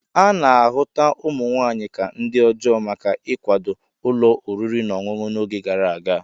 A na-ahụta ụmụ nwaanyị ka ndi ọjọọ maka ịkwado ụlọ oriri na ọṅụṅụ n'oge gara aga.